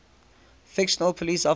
fictional police officers